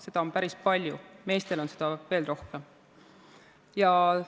Seda on päris palju ja meestel on see veel lühem.